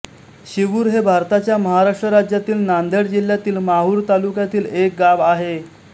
शिवूर हे भारताच्या महाराष्ट्र राज्यातील नांदेड जिल्ह्यातील माहूर तालुक्यातील एक गाव आहे